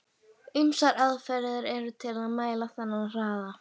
Ýmsar aðferðir eru til að mæla þennan hraða.